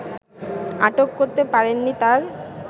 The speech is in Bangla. আটক করতে পারেননি তার